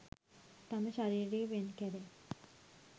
තම ශරීරය වෙන් කැර